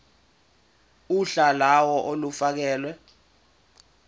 uhla lawo olufakelwe